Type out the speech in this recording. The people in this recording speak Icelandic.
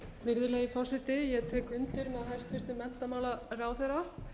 virðulegi forseti ég tek undir með hæstvirtum menntamálaráðherra